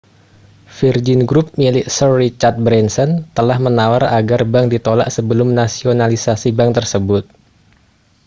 virgin group milik sir richard branson telah menawar agar bank ditolak sebelum nasionalisasi bank tersebut